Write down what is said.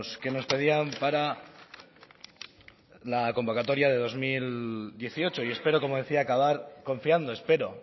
que nos pedían para la convocatoria de dos mil dieciocho y espero como decía acabar confiando espero